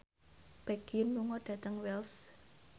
Baekhyun lunga dhateng Wells